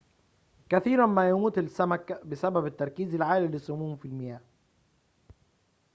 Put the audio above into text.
كثيراً ما يموت السمك بسبب التركز العالي للسموم في المياه